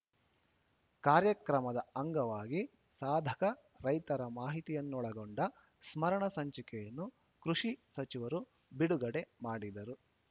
ಕಾರ್ಯಕ್ರಮದ ಅಂಗವಾಗಿ ಸಾಧಕ ರೈತರ ಮಾಹಿತಿಯನ್ನೊಳಗೊಂಡ ಸ್ಮರಣ ಸಂಚಿಕೆಯನ್ನು ಕೃಷಿ ಸಚಿವರು ಬಿಡುಗಡೆ ಮಾಡಿದರು